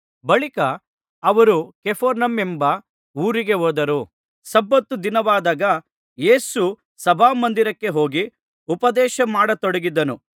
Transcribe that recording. ಬಳಿಕ ಅವರು ಕಪೆರ್ನೌಮೆಂಬ ಊರಿಗೆ ಹೋದರು ಸಬ್ಬತ್ ದಿನವಾದಾಗ ಯೇಸು ಸಭಾಮಂದಿರಕ್ಕೆ ಹೋಗಿ ಉಪದೇಶ ಮಾಡತೊಡಗಿದನು